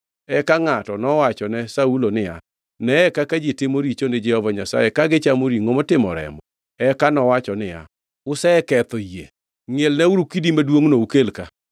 Eka ngʼato nowachone Saulo niya, “Neye kaka ji timo richo ni Jehova Nyasaye ka gichamo ringʼo motimo remo.” Eka nowacho niya, “Useketho yie. Ngʼielnauru kidi maduongʼno ukel ka.”